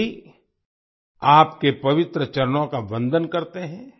सभी आपके पवित्र चरणों का वंदन करते हैं